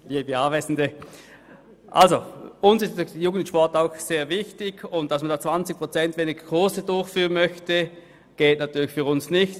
Uns ist J+S auch sehr wichtig, und dass man hier 20 Prozent weniger Kurse durchführen möchte, geht für uns natürlich nicht.